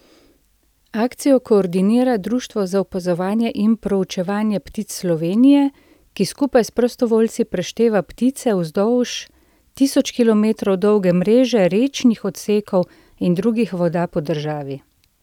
Akcijo koordinira Društvo za opazovanje in proučevanje ptic Slovenije, ki skupaj s prostovoljci prešteva ptice vzdolž tisoč kilometrov dolge mreže rečnih odsekov in drugih voda po državi.